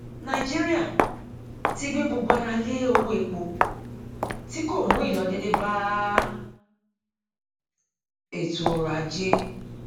nàìjíríà ti gbé gbogbo ara lé owó epo tí kò mú ìlọdédé bá ètò ọrọ ajé